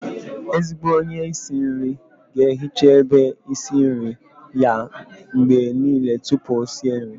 Ezigbo onye isi nri ga-ehiche ebe isi nri ya mgbe niile tupu o sie nri